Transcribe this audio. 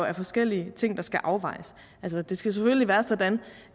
er forskellige ting der skal afvejes altså det skal selvfølgelig være sådan